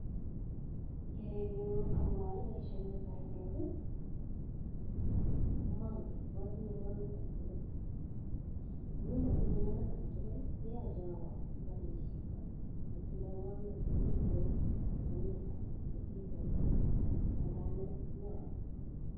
Kerenyuu akopaaee paishonii komatinye ngamnat aketugul amuu matinye ngamnat akee tugul koyache awaa ipalechii chito nee tindaii ngamnat nee kikawae ipkoneta olekiataii tukchu ndakanaii ibaii